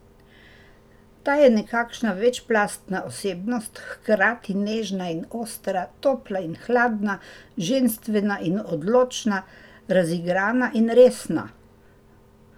Ta je nekakšna večplastna osebnost, hkrati nežna in ostra, topla in hladna, ženstvena in odločna, razigrana in resna ...